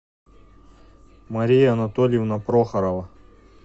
мария анатольевна прохорова